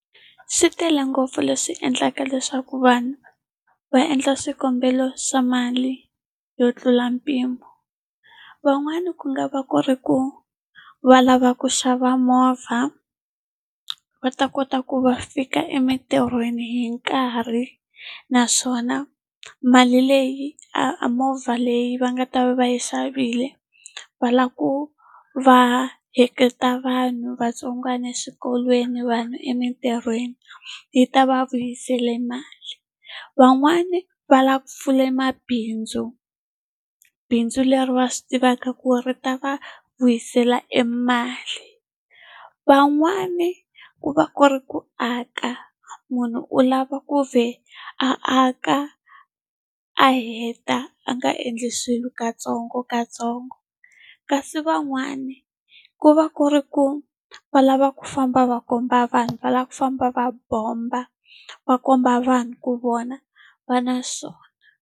Swi tele ngopfu leswi endlaka leswaku vanhu va endla swikombelo swa mali yo tlula mpimo. Van'wani ku nga va ku ri ku va lava ku xava movha, va ta kota ku va fika emitirhweni hi nkarhi. Naswona mali leyi a a movha leyi va nga ta va yi xavile, va lava ku va heleketa vanhu vantsongwana eswikolweni, vanhu emitirhweni, yi ta va vuyisela mali. Van'wani va lava ku pfula mabindzu, bindzu leri va swi tivaka ku ri ta va vuyisela emali. Van'wani ku va ku ri ku aka, munhu u lava ku vhela aka a heta, a nga endli swilo katsongokatsongo. Kasi van'wani ku va ku ri ku va lava ku famba va komba vanhu, va lava ku famba va bomba, va komba vanhu ku vona va na swona.